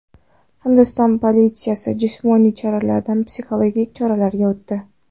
Hindiston politsiyasi jismoniy choralardan psixologik choralarga o‘tdi.